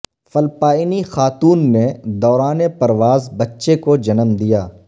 فلپائنی خاتون نے دوران پرواز بچے کو جنم دیا